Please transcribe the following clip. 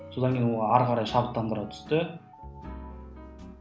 содан кейін ол ары қарай шабыттандыра түсті